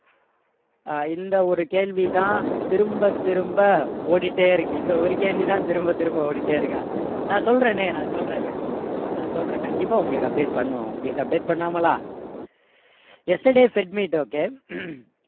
ஆஹ் இந்த ஒரு கேள்வி தான் திரும்ப திரும்ப ஓடிட்டே இருக்கு இந்த ஒரு கேள்வி தான் திரும்ப திரும்ப ஓடிட்டே இருக்கா நான் சொல்றனே நான் சொல்றேங்க நான் சொல்றேன் கண்டிப்பா உங்களுக்கு update பண்ணுவேன் உங்களுக்கு update பண்ணாமலா yesterday fed meet okay